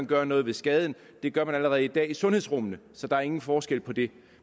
gøre noget ved skaden det gør man allerede i dag i sundhedsrummene så der er ingen forskel på det